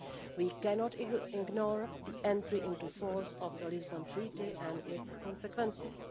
We cannot ignore the entry into force of the Lisbon Treaty and its consequences.